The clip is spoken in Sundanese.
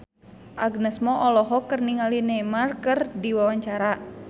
Agnes Mo olohok ningali Neymar keur diwawancara